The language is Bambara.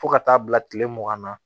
Fo ka taa bila kile mugan na